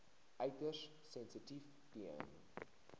uiters sensitief ten